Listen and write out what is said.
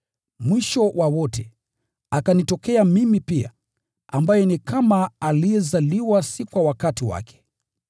Mwisho wa wote, akanitokea mimi pia, ambaye ni kama aliyezaliwa si kwa wakati wake.